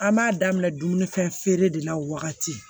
An b'a daminɛ dumuni fɛn de la wagati